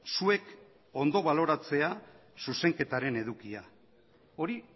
zuek ondo baloratzea zuzenketaren edukia hori